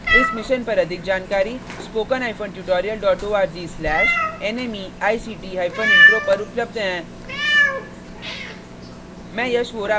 इस मिशन पर अधिक जानकारी spoken hyphen tutorial dot org slash nmeict hyphen intro पर उपलब्ध है